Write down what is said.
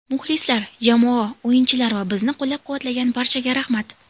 Muxlislar, jamoa, o‘yinchilar va bizni qo‘llab-quvvatlagan barchaga rahmat.